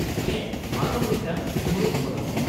-ᱦᱮᱸ ᱱᱚᱶᱟ ᱫᱚ ᱢᱤᱫᱴᱟᱝ ᱢᱩᱬᱩᱫ ᱯᱚᱨᱚᱵᱽ ᱾